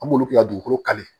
An b'olu kɛ dugukolo kali